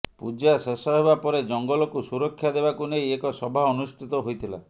ପୂଜା ଶେଷ ହେବାପରେ ଜଙ୍ଗଲକୁ ସୁରକ୍ଷା ଦେବାକୁ ନେଇ ଏକ ସଭା ଅନୁଷ୍ଠିତ ହୋଇଥିଲା